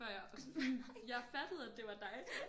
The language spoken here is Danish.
Før jeg jeg fattede at det var dig